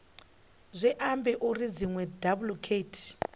zwi ambi uri dziṅwe daiḽekithi